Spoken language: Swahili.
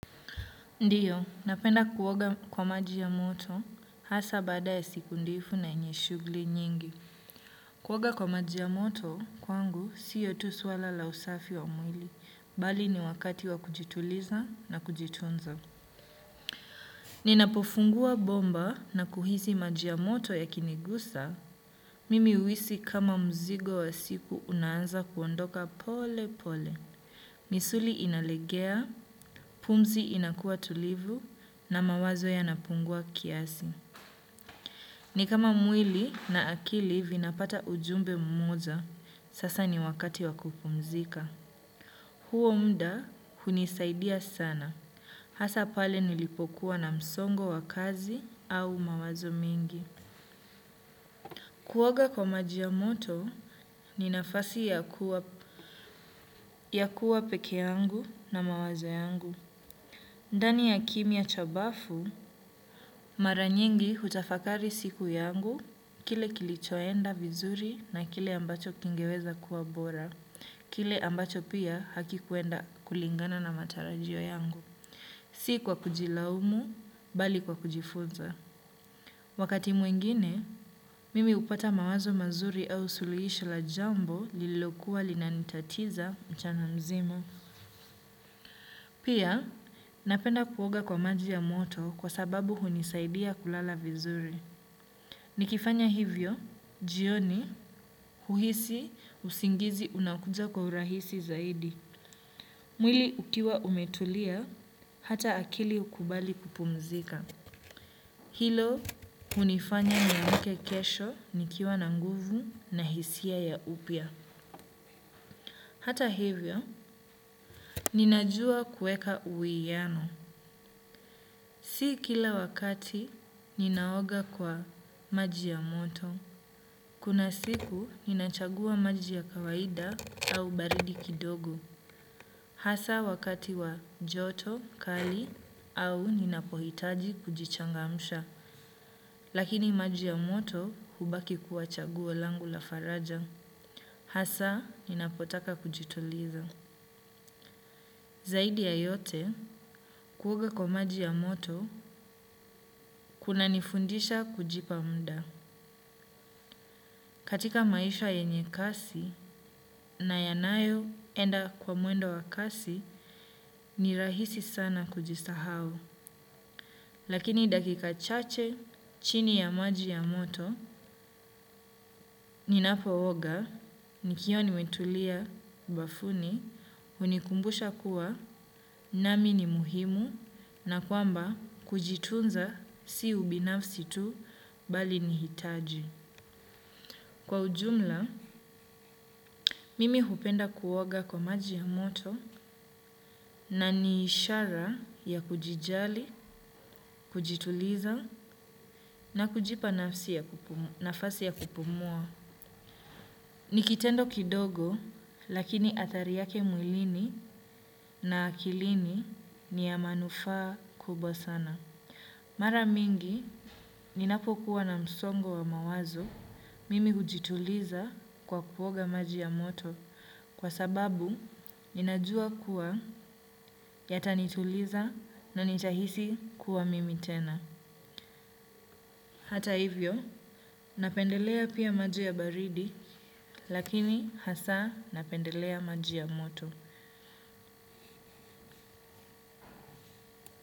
Ndiyo, napenda kuoga kwa maji ya moto, hasa baada ya siku ndefu na yenye shughuli nyingi. Kuoga kwa maji ya moto, kwangu, siyo tu swala la usafi wa mwili, bali ni wakati wa kujituliza na kujitunza. Ninapofungua bomba na kuhisi maji ya moto yakinigusa, mimi uhisi kama mzigo wa siku unaanza kuondoka pole pole. Misuli inalegea, pumzi inakuwa tulivu na mawazo yanapungua kiasi. Ni kama mwili na akili vinapata ujumbe mmoja, sasa ni wakati wa kupumzika. Huo muda hunisaidia sana. Hasa pale nilipokuwa na msongo wa kazi au mawazo mingi. Kuoga kwa maji ya moto, ni nafasi ya kuwa pekee yangu na mawazo yangu. Ndani ya kimya cha bafu, mara nyingi hutafakari siku yangu, kile kilichoenda vizuri na kile ambacho kingeweza kuwa bora, kile ambacho pia hakikuenda kulingana na matarajio yangu. Si kwa kujilaumu, bali kwa kujifunza. Wakati mwingine, mimi hupata mawazo mazuri au suluhisho la jambo lililokuwa linanitatiza mchana mzima. Pia, napenda kuoga kwa maji ya moto kwa sababu hunisaidia kulala vizuri. Nikifanya hivyo, jioni, uhisi, usingizi unakuja kwa urahisi zaidi. Mwili ukiwa umetulia, hata akili hukubali kupumzika. Hilo, hunifanya niamke kesho, nikiwa na nguvu na hisia ya upya. Hata hivyo, ninajua kuweka uwiano. Si kila wakati ninaoga kwa maji ya moto. Kuna siku ninachagua maji ya kawaida au baridi kidogo. Hasa wakati wa joto, kali au ninapohitaji kujichangamsha. Lakini maji ya moto hubaki kuwa chaguo langu la faraja. Hasa ninapotaka kujituliza. Zaidi ya yote, kuoga kwa maji ya moto, kunanifundisha kujipa muda. Katika maisha yenye kasi na yanayoenda kwa mwendo wa kasi ni rahisi sana kujisahau. Lakini dakika chache chini ya maji ya moto ninapooga nikiwa nimetulia bafuni hunikumbusha kuwa nami ni muhimu na kwamba kujitunza si ubinafsi tu bali ni hitaji. Kwa ujumla, mimi hupenda kuoga kwa maji ya moto na ni ishara ya kujijali, kujituliza na kujipa nafasi ya kupumua. Ni kitendo kidogo, lakini athari yake mwilini na akilini ni ya manufaa kubwa sana. Mara mingi, ninapokuwa na msongo wa mawazo, mimi hujituliza kwa kuoga maji ya moto. Kwa sababu, ninajua kuwa yatanituliza na nitahisi kuwa mimi tena. Hata hivyo, napendelea pia maji ya baridi, lakini hasa napendelea maji ya moto.